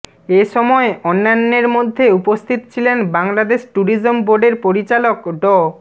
এ সময় অন্যান্যের মধ্যে উপস্থিত ছিলেন বাংলাদেশ ট্যুরিজম বোর্ড এর পরিচালক ড